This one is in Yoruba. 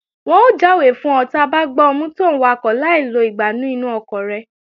Wọn ó jáwé fún ọ ta bá gbá ọ mú tòún wakọ̀ láì lo ìgbánú inú ọkọ̀ rẹ